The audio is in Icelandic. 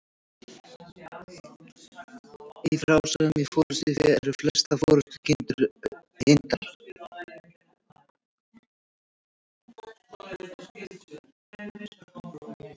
Í frásögnum í Forystufé eru flestar forystukindurnar hyrndar.